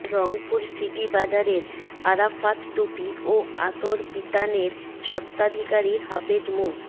Rangpur city বাজারের আরাফাত টুপি ও আতর বিতাণের স্বত্বাধিকারী হাফেজ মো